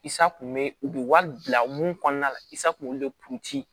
Isa kun be u be wari bila mun kɔnɔna la i sa kun b'olu de